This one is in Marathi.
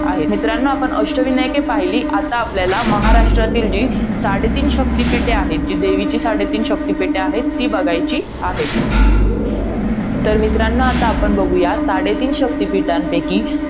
आहे. मित्रांनो, आपण अष्टविनायके पाहिली. आता आपल्याला, महाराष्ट्रातील जी साडेतीन शक्तिपीठे आहेत. जी, देवीची साडेतीन शक्तीपीठ आहेत. ती बघायची आहेत तर मित्रांनो आता आपण पाहूया, साडेतीन शक्तीपीठांपैकी